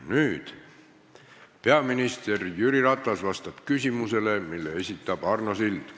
Nüüd vastab peaminister Jüri Ratas küsimusele, mille esitab Arno Sild.